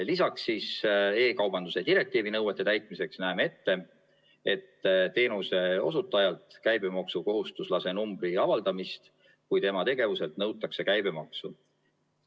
Lisaks e-kaubanduse direktiivi nõuete täitmiseks näeme ette teenuse osutajalt käibemaksukohustuslase numbri avaldamise, kui tema tegevuselt nõutakse käibemaksu.